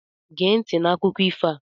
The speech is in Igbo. Géé nti n' akụkọ ifo a!